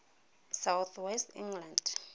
south west england